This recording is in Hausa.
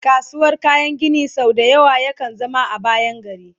kasuwar kayan Gini sau da yawa ya kan zama a bayan gari